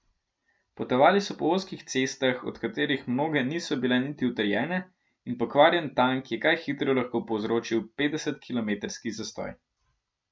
Potovali so po ozkih cestah, od katerih mnoge niso bile niti utrjene, in pokvarjen tank je kaj hitro lahko povzročil petdesetkilometrski zastoj.